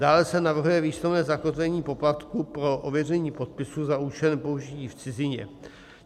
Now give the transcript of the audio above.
Dále se navrhuje výslovné zakotvení poplatku pro ověření podpisu za účelem použití v cizině.